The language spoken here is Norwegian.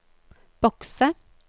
bokse